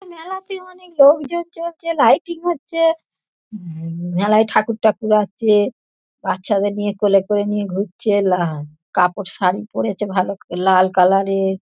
হম মেলায় ঠাকুর টাকুর আছে বাচ্চাদের নিয়ে কোলে করে নিয়ে ঘুরছে লা কাপড় শাড়ি পরেছে ভাল লাল কালার -এর।